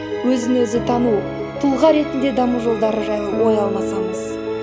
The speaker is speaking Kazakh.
өзі өзі тану тұлға ретінде даму жолдары жайлы ой алмасамыз